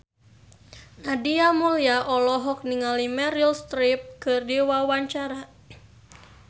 Nadia Mulya olohok ningali Meryl Streep keur diwawancara